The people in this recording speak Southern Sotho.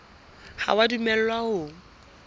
ha o a dumellwa ho